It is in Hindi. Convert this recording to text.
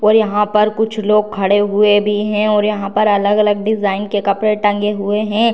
और यहाँ पर कुछ लोग खड़े हुए भी है और यहाँ पर अलग-अलग डिजाइन के कपडे टंगे हुए है।